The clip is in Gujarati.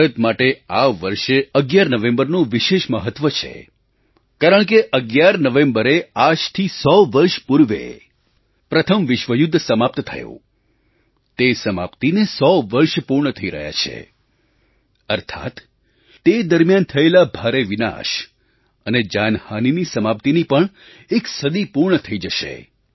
ભારત માટે આ વર્ષે 11 નવેમ્બરનું વિશેષ મહત્ત્વ છે કારણકે 11 નવેમ્બરે આજથી 100 વર્ષ પૂર્વે પ્રથમ વિશ્વ યુદ્ધ સમાપ્ત થયું તે સમાપ્તિને 100 વર્ષ પૂર્ણ થઈ રહ્યાં છે અર્થાત્ તે દરમિયાન થયેલા ભારે વિનાશ અને જાનહાનિની સમાપ્તિની પણ એક સદી પૂર્ણ થઈ જશે